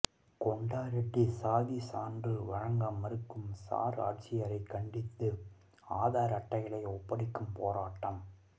கொண்டா ரெட்டி சாதிச் சான்று வழங்க மறுக்கும் சார் ஆட்சியரை கண்டித்து ஆதர் அட்டைகளை ஒப்படைக்கும் போராட்டம்